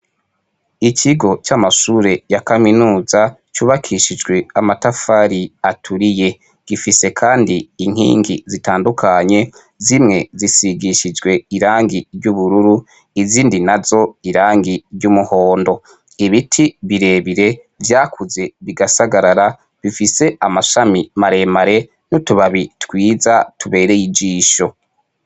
Ikigo c'amashure ya kamenuza cubakishijwe amatafari aturiye gifise kandi inkingi zitandukanye, zimwe zisigishijwe irangi ry'ubururu, izindi nazo irangi ry'umuhondo, ibiti birebire vyakuze bigasagarara bifise amashami maremare n'utubabi twiza tubereye ijisho.